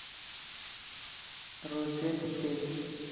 розет кет